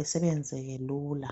asebenziseke lula.